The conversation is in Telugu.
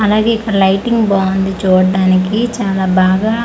అలాగే ఇక్కడ లయిటింగ్ బాగుంది చూడానికి చాలా బాగా లై--